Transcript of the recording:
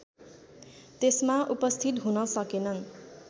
त्यसमा उपस्थित हुन सकेनन्